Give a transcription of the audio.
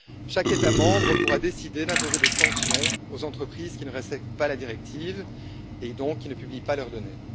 Chaque État membre pourra décider d'imposer des sanctions aux entreprises qui ne respectent pas la directive, et donc qui ne publient pas leur données.